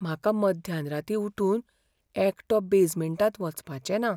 म्हाका मध्यानराती उठून एकटो बेजमेंटांत वचपाचें ना .